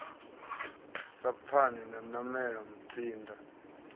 sa pfani na nanela mutsinda